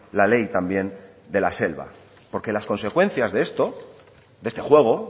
la ley también de la selva porque las consecuencias de esto de este juego